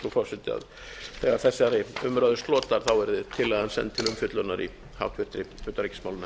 forseti að þegar þessari umræðu slotar verði tillagan send til umfjöllunar í háttvirtri utanríkismálanefnd